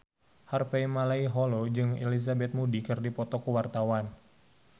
Harvey Malaiholo jeung Elizabeth Moody keur dipoto ku wartawan